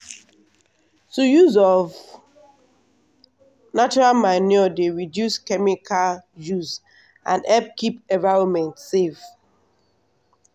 to use of natural manure dey reduce chemical use and help keep environment safe.